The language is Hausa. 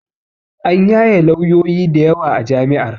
An yaye lawyoyi dayawa a jami'ar